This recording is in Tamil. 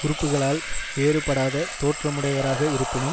உறுப்புகளால் வேறுபடாத தோற்றமுடையவராக இருப்பினும்